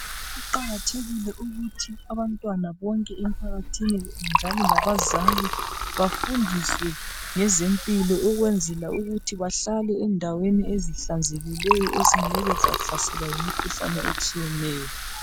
Kuqakathekile ukuthi abantwana bonke empakathini njalo labazali bafundiswe ngezempilo. Ukwenzela ukuthi bahlale endaweni ezihlanzekileyo ezingeke zahlaselwa yimikhuhlane etshiyeneyo.